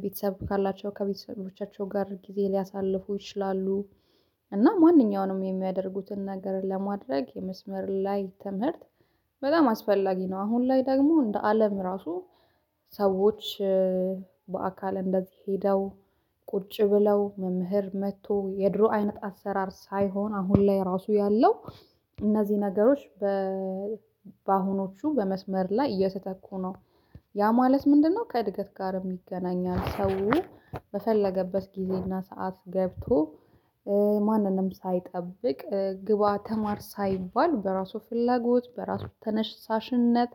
ቤተሰብ ካላቸው ከቤተሰቦቻቸው ጋር ጊዜ ሊያሳልፉ ይችላሉ። እና ማንኛውንም የሚያደርጉትን ነገር ለማድረግ የመስመር ላይ ትምህርት በጣም አስፈላጊ ነው። አሁን ላይ ደግሞ እንደ አለም ራሱ ሰዎች በአካል እንደዚህ ሄደው ቁጭ ብለው መምህር መጥቶ የድሮ አይነት አሰራር ሳይሆን አሁን ላይ ራሱ ያለው እነዚህ ነገሮች በአሁኖቹ በመስመር ላይ እየተተኩ ነው። ያ ማለት ምንድነው? ከእድገት ጋርም ይገናኛል ሰው በፈለገበት ጊዜና ሰዓት ገብቶ ማንንም ሳይጠብቅ ግባ ተማር ሳይባል በራሱ ፍላጎት በራሱ ተነሳሽነት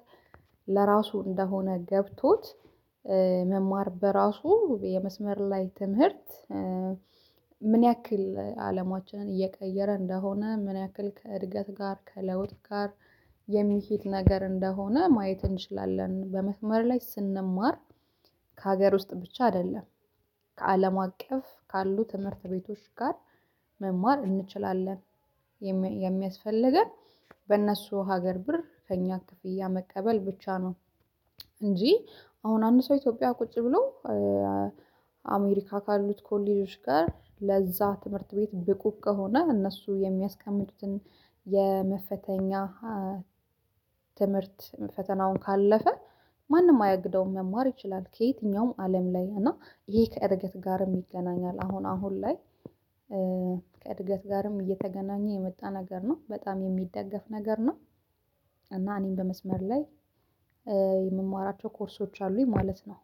ለራሱ እንደሆነ ገብቶት መማር በራሱ የመስመር ላይ ትምህርት። ምን ያክል አለማችንን እየቀየረ እንደሆነ ምን ያክል ከእድገት ጋር ከለውጥ ጋር የሚሄድ ነገር እንደሆነ ማየት እንችላለን በመስመር ላይ ስንማር ከሀገር ውስጥ ብቻ አይደለም ከአለም አቀፍ ካሉ ትምህርት ቤቶች ጋር መማር እንችላለን። የሚያስፈልገን በእነሱ ሀገር ብር ከእኛ ክፍያ መቀበል ብቻ ነው። እንጂ አሁን አንድ ሰው ኢትዮጵያ ቁጭ ብሎ አሜሪካ ካሉት ኮሌጆች ጋር ለዛ ትምህርት ቤት ብቁ ከሆነ እነሱ የሚያስቀምጡትን የመፈተኛ ትምህርት ፈተናውን ካለፈ ማንም አያግደውም መማር ይችላል። ከየትኛውም አለም ላይ እና ይሄ ከእድገት ጋርም ይገናኛል አሁን አሁን ላይ ከእድገት ጋርም እየተገናኘ የመጣ ነገር ነው በጣም የሚደገፍ ነገር ነው። እና እኔ በመስመር ላይ ኮርሶች አሉኝ ማለት ነው